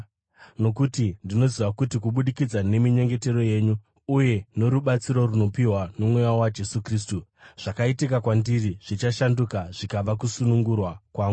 nokuti ndinoziva kuti kubudikidza neminyengetero yenyu uye norubatsiro runopiwa noMweya waJesu Kristu, zvakaitika kwandiri zvichashanduka zvikava kusunungurwa kwangu.